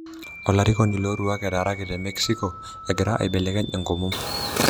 Olarikoni loo laruok etaraki te Mexico egira aibelekeny enkomom.